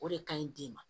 O de ka ɲi den ma